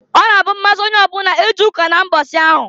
Ọ na-abụ mmasị onye ọbụla ije ụka na mbọsị ahụ.